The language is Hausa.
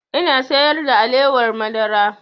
Ina sayar da alewar madara